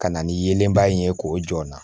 Ka na ni yelenba in ye k'o jɔ n na